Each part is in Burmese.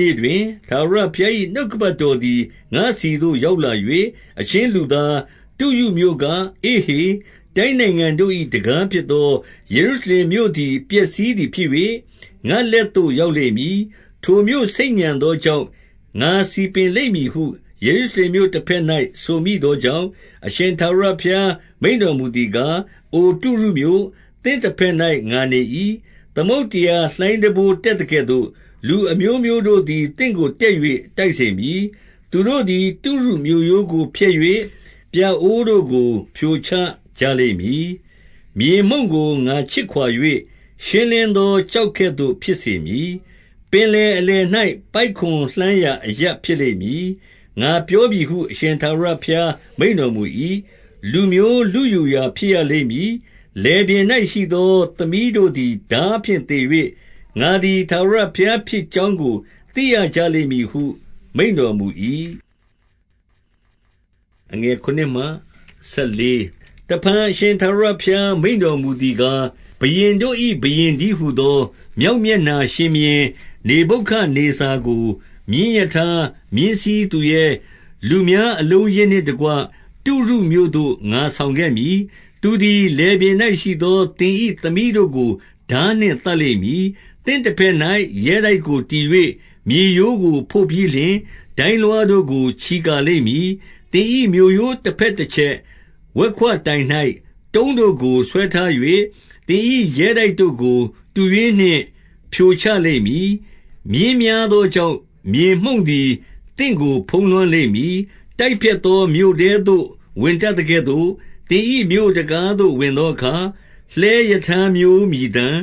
နေ့တွင်၊ ထာဝရဘုရား၏နှုတ်ကပတ်တော်သည် ငါ့ဆီသို့ ရောက် လာ၍၊ 2 အချင်းလူသား၊ တုရုမြို့က၊ အေ့ဟေ၊ တိုင်းနိုင်ငံ တို့၏ တံခါးဖြစ်သော ယေရုရှလင်မြို့သည် ပျက်စီးသည် ဖြစ်၍၊ ငါ့လက်သို့ ရောက်လိမ့်မည်။ ထိုမြို့ဆိတ်ညံသော ကြောင့် ငါစည်ပင်လိမ့်မည်ဟု ယေရုရှလင်မြို့တဘက်၌ ဆိုမိသောကြောင့်၊ 3 အရှင်ထာဝရဘုရားမိန့်တော်မူသည်ကား၊ အိုတုရုမြို့၊ သင့်တဘက်၌ ငါနေ၏။ သမုဒ္ဒရာလှိုင်းတပိုး တက်သကဲ့သို့၊ လူအမျိုးမျိုးတို့သည် သင်ကိုတက်၍ တိုက်စေမည်။ 4 သူတို့သည် တုရုမြို့ရိုးကိုဖျက်၍ ပြအိုးတို့ကို ဖြိုချကြလိမ့်မည်။ မြေမှုန့်ကို ငါခြစ်ခွာ၍ ရှင်းလင်းသောကျောက် ကဲ့သို့ ဖြစ်စေမည်။ 5 ပင်လယ်အလယ်၌ ပိုက်ကွန်လှန်းရာ အရပ် ဖြစ်လိမ့်မည်။ ငါပြောပြီဟု အရှင်ထာဝရဘုရားမိန့်တော် မူ၏။ လူမျိုးလုယူရာဖြစ်ရလိမ့်မည်။ 6 လယ်ပြင်၌ရှိသော သမီးတို့သည် ထားဖြင့် သေ၍၊ ငါသည် ထာဝရဘုရားဖြစ်ကြောင်းကို သိရကြ လိမ့်မည်ဟု မိန့်တော်မူ၏။ 7 တဖန် အရှင်ထာဝရဘုရား မိန့်တော်မူသည် ကား၊ ဘုရင်တို့၏ဘုရင်တည်းဟူသော မြောက်မျက်နှာရှင် ဘုရင်နေဗုခဒ်နေဇာကို၊ မြင်းထားရထား၊ မြင်းစီးသူရဲ၊ လူများအလုံးအရင်းနှင့်တကွ တုရုမြို့သို့ ငါဆောင်ခဲ့ မည်။ 8 သူသည်လယ်ပြင်၌ရှိသော သင်၏သားသမီးတို့ကို ထားနှင့်သတ်လိမ့်မည်။ သင့်တလက်၌ ရဲတိုက်ကိုတည်၍ မြေရိုးကိုဖို့ပြီးလျှင်၊ ဒိုင်းလွှားတို့ကို ချီကာလိမ့်မည်။ 9 သင်၏မြို့ရိုးတဘက်တချက်၊ ဝက်ခွတိုင်၌ တုံးတို့ကို ဆွဲထား၍ သင်၏ရဲတိုက်တို့ကို တူးရွင်းနှင့် ဖြိုချလိမ့်မည်။ 10 မြင်းများသောကြောင့် မြေမှုန့်သည် သင့်ကို ဖုံးလွှမ်းလိမ့်မည်။ တိုက်ဖျက်သော မြို့ထဲသို့ဝင်တတ် သကဲ့သို့ သင်၏မြို့တံခါးသို့ ဝင်သောအခါ၊ လှည်းရထား မျိုးမြည်သံ၊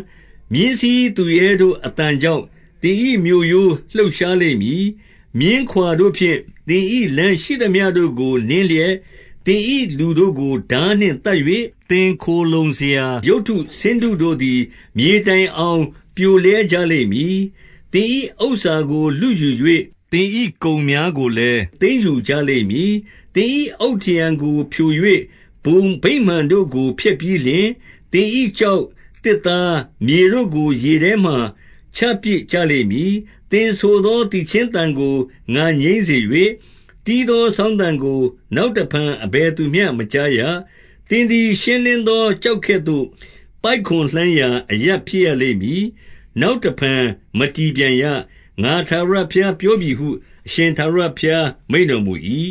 မြင်းစီးသူရဲတို့ အသံကြောင့် သင်၏မြို့ရိုး လှုပ်ရှားလိမ့်မည်။ 11 မြင်းခွာတို့ဖြင့် သင်၏လမ်းရှိသမျှတို့ကို နင်း လျက်၊ သင်၏လူတို့ကို ထားနှင့်သတ်၍၊ သင်ခိုလှုံစရာ ရုပ်တုဆင်းတုတို့သည် မြေတိုင်အောင် ပြိုလဲကြလိမ့်မည်။ 12 သင်၏ဥစ္စာကို လုယူ၍သင်၏ကုန်များကိုလည်း သိမ်းယူကြလိမ့်မည်။ သင်၏အုတ်ထရံတို့ကို ဖြို၍ဘုံဗိမာန် တို့ကို ဖျက်ပြီးလျှင်၊ သင်၏ ကျောက်၊ သစ်သား၊ မြေတို့ကို ရေထဲမှာ ချပစ်ကြလိမ့်မည်။ 13 သင်ဆိုသောသီချင်းသံကို ငါငြိမ်းစေ၍၊ သင်တီး သော စောင်းသံကို နောက်တဖန် အဘယ်သူမျှမကြားရ။ 14 သင်သည် ရှင်းလင်းသောကျောက်ကဲ့သို့ ငိုက်ကွန်လှန်ရာ အရပ်ဖြစ်ရလိမ့်မည်။ နောက်တဖန် မတည်ပြန်ရ။ ငါထာဝရဘုရားပြောပြီဟု အရှင်ထာဝရ ဘုရားမိန့်တော်မူ၏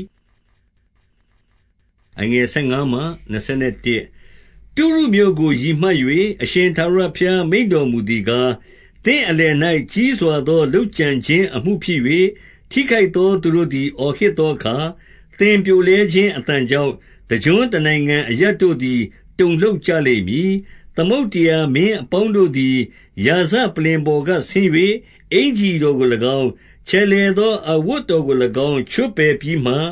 ။ 15 တုရုမြို့ကို ရည်မှတ်၍ အရှင်ထာဝရဘုရား မိန့်တော်မူသည်ကား၊ သင့်အလယ်၌ ကြီးစွာသော လုပ်ကြံခြင်း အမှုဖြစ်၍၊ ထိခိုက်သော သူတို့သည် အော်ဟစ်သောအခါ၊ သင်ပြိုလဲခြင်း အသံကြောင့် တကျွန်းတနိုင်ငံ အရပ်တို့သည် တုန်လှုပ်ကြလိမ့်မည်။ 16 သမုဒ္ဒရာမင်းအပေါင်းတို့သည် ရာဇပလ္လင်ပေါ် က ဆင်း၍၊ အင်္ကျီတော်ကို၎င်း၊ ချယ်လှယ်သော အဝတ် တော်ကို၎င်း၊ ချွတ်ပယ်ပြီးမှ၊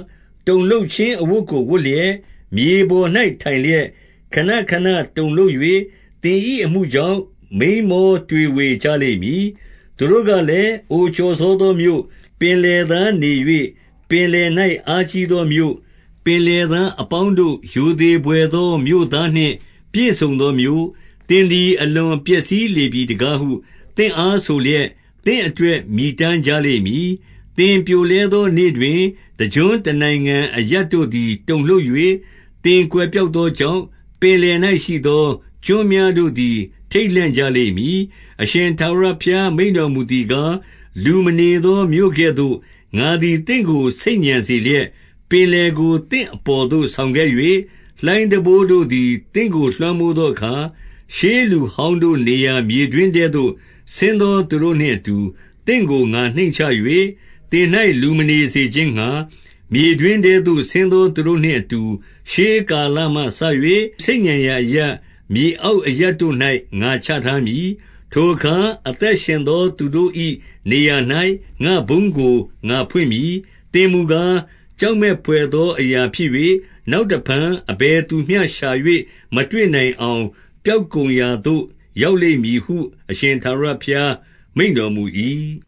တုန်လှုပ်ခြင်းအဝတ်ကို ဝတ်လျက်၊ မြေပေါ်၌ ထိုင်လျက် ခဏခဏတုန်လှုပ်၍၊ သင်၏အမှုကြောင့် မိန်းမောတွေဝေကြလိမ့်မည်။ 17 သူတို့ကလည်း၊ အိုကျော်စောသောမြို့၊ ပင်လယ် သားနေ၍ ပင်လယ်၌ အားကြီးသော မြို့၊ ပင်လယ်သား အပေါင်းတို့ ရိုသေဘွယ်သော မြို့သားနှင့် ပြည့်စုံသော မြို့၊ သင်သည် အလွန်ပျက်စီးလေပြီတကားဟု သင့်အား ဆိုလျက်၊ သင့်အတွက် မြည်တမ်းကြလိမ့်မည်။ 18 သင်ပြိုလဲသောနေ့တွင် တကျွန်းတနိုင်ငံ အရပ် တို့သည် တုန်လှုပ်၍၊ သင်ကွယ်ပျောက်သောကြောင့် ပင်လယ်၌ရှိသော ကျွန်းများတို့သည် ထိတ်လန့်ကြလိမ့် မည်။ 19 အရှင်ထာဝရဘုရား မိန့်တော်မူသည်ကား၊ လူမနေသောမြို့ကဲ့သို့ ငါသည် သင့်ကိုဆိတ်ညံစေလျက်၊ ပင်လယ်ကိုသင့်အပေါ်သို့ ဆောင်ခဲ့၍၊ လှိုင်းတံပိုးတို့သည် သင့်ကိုလွှမ်းမိုးသောအခါ၊ 20 ရှေးလူဟောင်းတို့ နေရာမြေတွင်းထဲသို့ ဆင်း သော သူတို့နှင့်အတူ သင့်ကိုငါ နှိမ့်ချ၍၊ သင်၌လူမနေစေ ခြင်းငှါ မြေတွင်းထဲသို့ဆင်းသောသူတို့နှင့်အတူ၊ ရှေး ကာလမှစ၍ဆိတ်ညံရာအရပ်၊ မြေအောက်အရပ်တို့၌ ငါချထားမည်။ ထိုအခါ အသက်ရှင်သောသူတို့၏ နေရာ ၌ ငါ့ဘုန်းကို ငါဖွင့်မည်။ 21 သင်မူကား၊ ကြောက်မက်ဘွယ်သော အရာဖြစ် ၍၊ နောက်တဖန် အဘယ်သူမျှရှာ၍ မတွေ့နိုင်အောင်၊ ပျောက်ကုန်ရာသို့ရောက်လိမ့်မည်ဟု အရှင်ထာဝရ ဘုရားမိန့်တော်မူ၏။